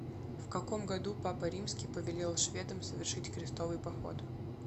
в каком году папа римский повелел шведам совершить крестовый поход